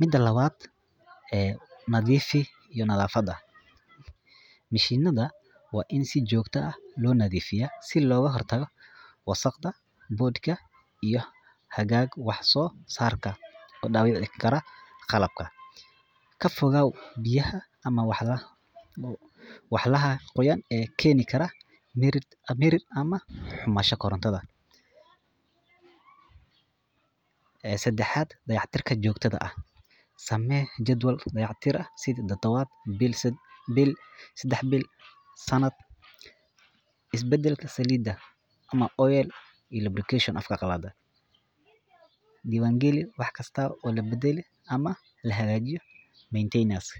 daman nadifi iyo nafada, mishinada wa in si jogta ah lonadifiyo si logahortago wasaqda, bodka iyo hagag waxsosarka ok dawici kara qalabka, kafogaw biyaha ama waxyalaha qoyan oo keni karo mirir ama humansho korontada, ee sadahat dayactirka samee jadwal dacaytirka sidi tadawat bil sadex bil sanad isbadlka ama oil obligation oo afka qalad ah, diwangalu waxkasta oo labadali ama lahagajiyo maintenance.